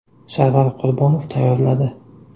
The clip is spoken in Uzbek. Sarvar Qurbonov tayyorladi.